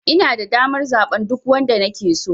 Inada damar zaɓen duk wanda nake so.